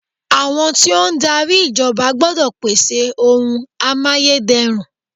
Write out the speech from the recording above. Àwọn tí ó ń darí ìjọba gbọ́dọ̀ pèsè oun amáyédẹrùn.